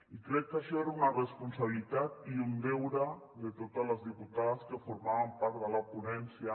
i crec que això era una responsabilitat i un deure de totes les diputades que formàvem part de la ponència